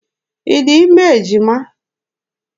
Ị dị ime ejima?